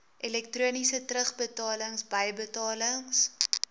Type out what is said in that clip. elektroniese terugbetalings bybetalings